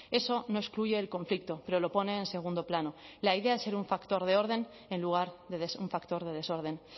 eso no excluye el conflicto pero lo pone en segundo plano la idea es ser un factor de orden en lugar de un factor de desorden